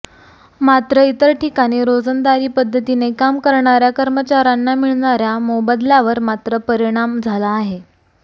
मात्र इतर ठिकाणी रोजंदारी पद्धतीने काम करणाऱ्या कर्मचाऱ्यांना मिळणाऱ्या मोबदल्यावर मात्र परिणाम झाला आहे